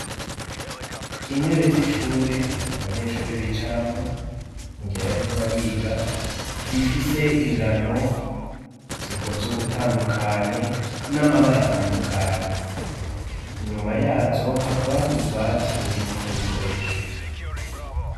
Intebe z'ishure abanyeshure bicaramwo mu gihe bariko bariga, zifise ingano zikoze ugutandukanye n'amabara atandukanye, inyuma yazo hakaba hari ububati bubikwamwo ibikoresho.